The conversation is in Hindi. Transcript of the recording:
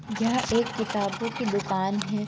यह एक किताबों कि दुकान है।